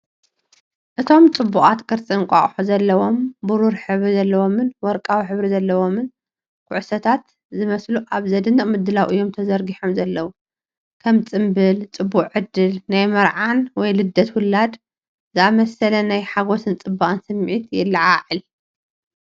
እቶም ጽብቓት ቅርጺ እንቋቑሖ ዘለዎም፡ ብሩር ሕብሪ ዘለዎምን ወርቃዊ ሕብሪ ዘለዎምን ኩዕሶታት ዝመስሉ ኣብ ዘደንቕ ምድላው እዮም ተዘርጊሖም ዘለው። ከም ጽምብል ጽቡቕ ዕድል፣ ናይ መርዓን፣ ወይ ልደት ውላድ ዝኣመሰለ ናይ ሓጐስን ጽባቐን ስምዒት የለዓዕል።